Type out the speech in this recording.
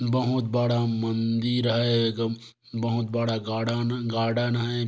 बहुत बड़ा मंदिर है बहुत बड़ा गार्डन गार्डन है।